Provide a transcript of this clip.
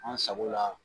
An sago la